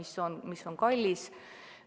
See on kallis.